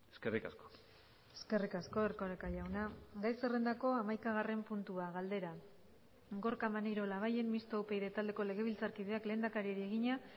eskerrik asko eskerrik asko erkoreka jauna gai zerrendako hamaikagarren puntua galdera gorka maneiro labayen mistoa upyd taldeko legebiltzarkideak lehendakariari egina